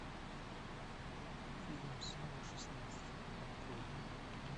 фильм снова шестнадцать открой